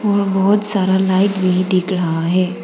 बहुत सारा लाइट भी दिख रहा है।